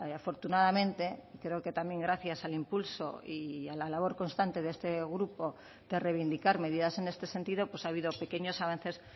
afortunadamente creo que también gracias al impulso y a la labor constante de este grupo de reivindicar medidas en este sentido ha habido pequeños avances